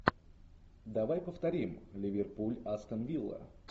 давай повторим ливерпуль астон вилла